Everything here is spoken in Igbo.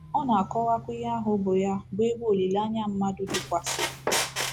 Ọ na-akọwakwa ihe ahu bu ya bụ ebe olileanya mmadụ dịkwasịrị.